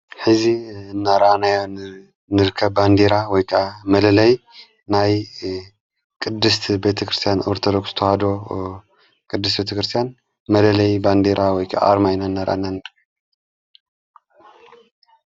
ሕዚ ናራናያ ንርከ ባንዲራ ወይ መለለይ ናይ ቅድስቲ ቤተ ክርስቲያን ወርተለክተሃዶ ቅድስ ቤተ ክርስቲያን መለለይ ባንዴራ ወይቃ ኣርማኢና እንርከብ ::